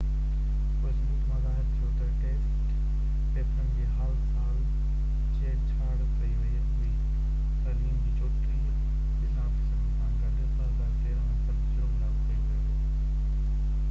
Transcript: پوءِ ثبوت مان ظاهر ٿيو ته ٽيسٽ پيپرن جي هال سان ڇيڙ ڇاڙ ڪئي وئي هئي تعليم جي 34 ٻين آفيسرن سان گڏ 2013 ۾ فرد جرم لاڳو ڪيو ويو هو